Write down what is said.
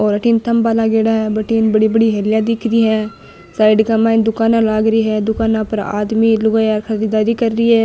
और अठन थंबा लागेड़ा है बठन बड़ी बड़ी हेलिया दिख रि है साइड के माय दूकाना लाग री है दूकाना पर आदमी लुगाई खरीददारी कर रि है।